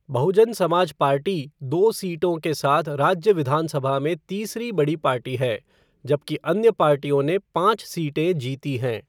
बहुजन Samaj party दो सीटों के साथ राज्य विधानसभा में तीसरी बड़ी पार्टी है, जबकि अन्य पार्टियों ने पाँच सीटें जीती हैं।